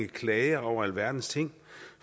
klager over alverdens ting